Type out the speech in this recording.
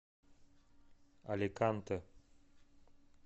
аликанте